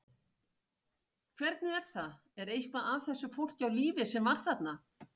Hvernig er það, er eitthvað af þessu fólki á lífi sem var þarna?